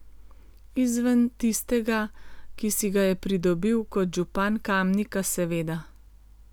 Izven tistega, ki si ga je pridobil kot župan Kamnika, seveda.